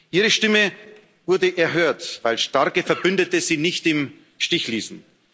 Ihre Stimme wurde erhört, weil starke Verbündete sie nicht im Stich ließen.